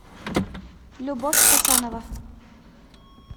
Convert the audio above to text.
любовь хасанова